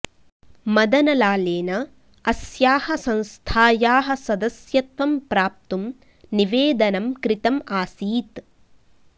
मदनलालेन अस्याः संस्थायाः सदस्यत्वं प्राप्तुं निवेदनं कृतम् आसीत्